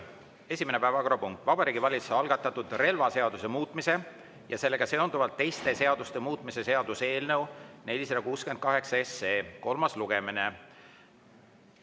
Esimene päevakorrapunkt: Vabariigi Valitsuse algatatud relvaseaduse muutmise ja sellega seonduvalt teiste seaduste muutmise seaduse eelnõu 468 kolmas lugemine.